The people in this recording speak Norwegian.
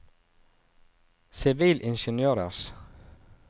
sivilingeniørers